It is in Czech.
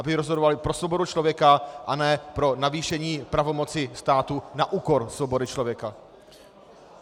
Aby rozhodovali pro svobodu člověka, a ne pro navýšení pravomoci státu na úkor svobody člověka.